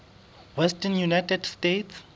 western united states